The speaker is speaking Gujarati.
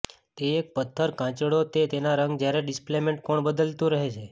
તે એક પથ્થર કાચંડો કે તેના રંગ જ્યારે ડિસ્પ્લેસમેન્ટ કોણ બદલાતું રહે છે